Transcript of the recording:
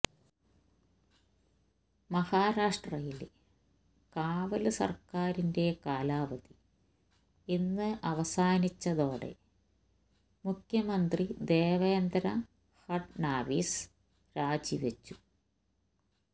മഹാരാഷ്ട്രയില് കാവല് സര്ക്കാരിന്റെ കാലാവധി ഇന്ന് അവസാനിച്ചതോടെ മുഖ്യമന്ത്രി ദേവേന്ദ്ര ഫഡ്നാവിസ് രാജിവെച്ചു